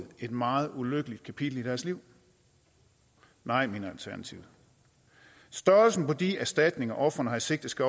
et meget ulykkeligt kapitel i deres liv nej mener alternativet størrelsen på de erstatninger ofrene har i sigte skal